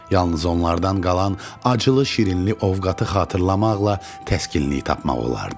Yalnız onlardan qalan acılı şirinli ovqatı xatırlamaqla təskinlik tapmaq olardı.